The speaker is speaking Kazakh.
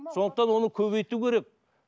сондықтан оны көбейту керек